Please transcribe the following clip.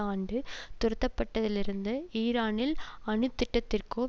ஆண்டு துரத்தப்பட்டதிலிருந்து ஈரானில் அணுத்திட்டத்திற்கோ